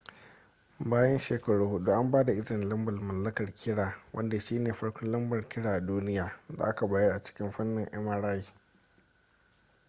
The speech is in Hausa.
bayan shekaru hudu an ba da izini lambar mallakar kira wanda shi ne farkon lambar kira a duniya da aka bayar a cikin fannin mri